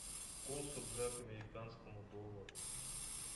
курс рубля к американскому доллару